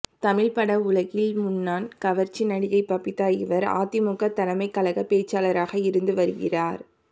தமிழ்ப் பட உலகின் முன்னால் கவர்ச்சி நடிகை பபிதா இவர் அதிமுக தலைமைக் கழக பேச்சாளாராக இருந்து வருகிறார்